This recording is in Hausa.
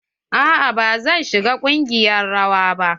A'a ba zan shiga ƙungiyar rawa ba.